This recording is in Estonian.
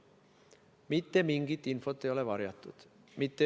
Mitte mingisugust infot ei ole varjatud.